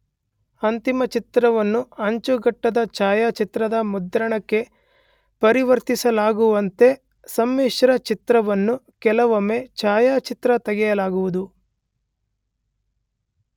ಅಂತಿಮ ಚಿತ್ರವನ್ನು ಅಂಚುಗಟ್ಟದ ಛಾಯಾಚಿತ್ರದ ಮುದ್ರಣಕ್ಕೆ ಪರಿವರ್ತಿಸಲಾಗುವಂತೆ ಸಮ್ಮಿಶ್ರ ಚಿತ್ರವನ್ನು ಕೆಲವೊಮ್ಮೆ ಛಾಯಾಚಿತ್ರ ತೆಗೆಯಲಾಗುವುದು.